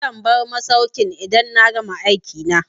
Zan bar masaukin idan na gama aikina.